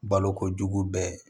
Balokojugu bɛɛ